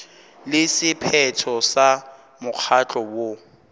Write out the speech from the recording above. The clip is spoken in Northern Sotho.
le sephetho sa mokgatlo woo